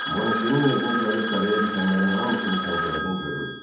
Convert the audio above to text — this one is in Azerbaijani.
Bonasyenin evinə gəlib tələyə düşənlərin hamısını pəncərədən görürdü.